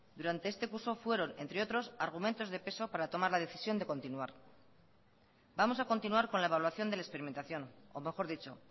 durante este curso fueron entre otros argumentos de peso para tomar la decisión de continuar vamos a continuar con la evaluación de la experimentación o mejor dicho